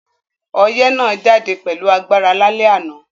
Oyẹ́ náà jáde pẹ̀lu agbára lálẹ́ ànán